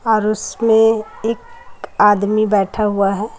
और उसमें एक आदमी बैठा हुआ है।